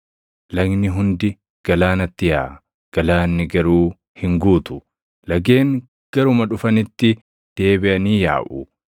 Lagni hundi galaanatti yaaʼa; galaanni garuu hin guutu. Lageen garuma dhufanitti deebiʼanii yaaʼu.